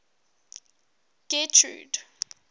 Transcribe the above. getrude